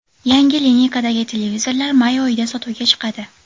Yangi lineykadagi televizorlar may oyida sotuvga chiqadi.